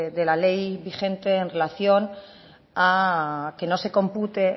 de la ley vigente en relación a que no se compute